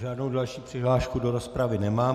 Žádnou další přihlášku do rozpravy nemám.